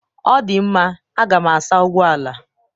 ọ dị mma a ga m asa ụgbọ ala